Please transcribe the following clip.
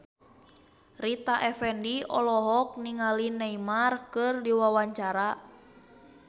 Rita Effendy olohok ningali Neymar keur diwawancara